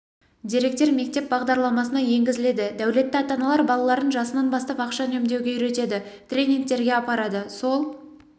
деректер мектеп бағдарламасына енгізіледі дәулетті ата-аналар балаларын жасынан бастап ақша үнемдеуге үйретеді тренингтерге апарады сол